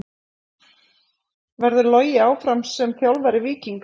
Verður Logi áfram sem þjálfari Víkings?